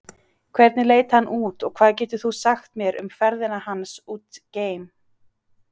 Hvernig leit hann út og hvað getur þú sagt mér um ferðina hans út geim?